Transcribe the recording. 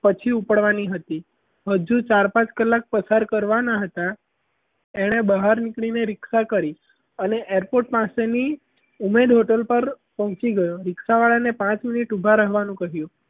પછી ઉપડવાની હતી હજી ચાર પાંચ કલાક પસાર કરવાના હતા એણે બહાર નીકળીને રીક્ષા કરી અને airport પાસેની ઉમેદ hotel પર પહોંચી ગયો રિક્ષાવાળાને પાંચ મિનિટ ઊભા રહેવાનું કહ્યું.